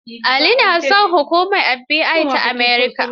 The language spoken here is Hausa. Ali na son hukumar FBI ta America